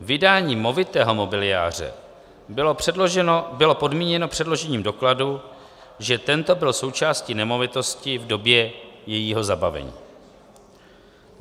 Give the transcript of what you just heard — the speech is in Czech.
Vydání movitého mobiliáře bylo podmíněno předložením dokladu, že tento byl součástí nemovitosti v době jejího zabavení.